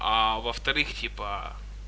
а во-вторых типа